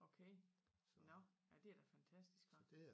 Okay nå nej det er da fantastisk hva